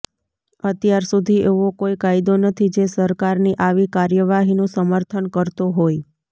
અત્યાર સુધી એવો કોઈ કાયદો નથી જે સરકારની આવી કાર્યવાહીનું સમર્થન કરતો હોય